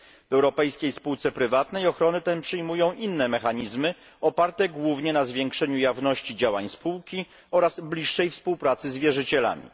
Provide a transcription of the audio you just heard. W europejskiej spółce prywatnej ochronę tę przyjmują inne mechanizmy oparte głównie na zwiększeniu jawności działań spółki oraz bliższej współpracy z wierzycielami.